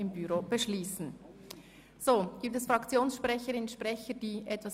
Grossrätin Machado Rebmann, ich erteile wirklich nur Fraktionssprecherinnen und -sprechern das Wort.